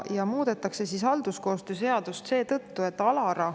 Halduskoostöö seadust muudetakse seetõttu, et ALARA.